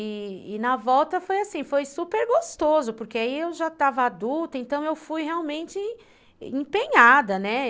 E na volta foi assim, foi super gostoso, porque aí eu já estava adulta, então eu fui realmente empenhada, né?